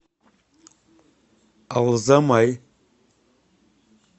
алзамай